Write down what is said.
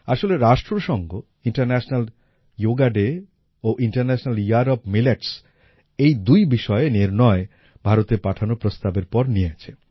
আসলে রাষ্ট্রসংঘ international yoga day ও ইন্টারন্যাশনাল ইয়ার ওএফ মিলেটস এই দুই বিষয়ে নির্ণয় ভারতের পাঠানো প্রস্তাবের পর নিয়েছে